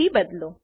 થી બદલો